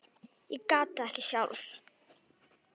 Ég gat það ekki sjálf.